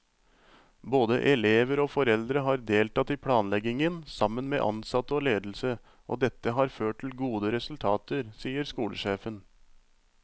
Både elever og foreldre har deltatt i planleggingen sammen med ansatte og ledelse, og dette har ført til gode resultater, sier skolesjefen.